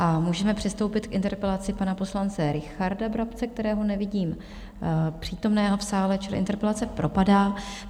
A můžeme přistoupit k interpelaci pana poslance Richarda Brabce, kterého nevidím přítomného v sále, čili interpelace propadá.